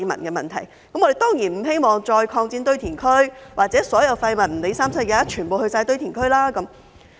我們當然不希望再擴展堆填區，或所有廢物不管甚麼也全部送去堆填區。